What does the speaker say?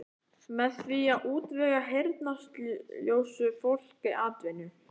Með því að útvega heyrnarsljóu fólki atvinnu.